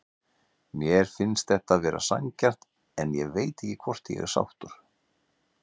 Mér finnst þetta vera sanngjarnt en ég veit ekki hvort ég er sáttur.